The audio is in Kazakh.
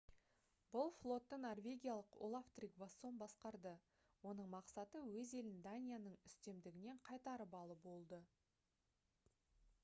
бұл флотты норвегиялық олаф тригвассон басқарды оның мақсаты өз елін данияның үстемдігінен қайтарып алу болды